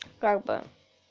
как бы